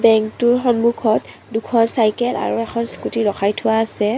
বেংকটোৰ সন্মুখত দুখন চাইকেল আৰু এখন স্কুটী ৰখাই থোৱা আছে।